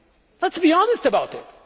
family. Let us be honest about